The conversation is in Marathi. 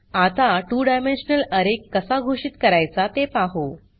आता 2 डायमेन्शनल अरे कसा घोषित करायचा ते पाहु